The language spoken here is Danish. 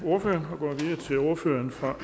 marts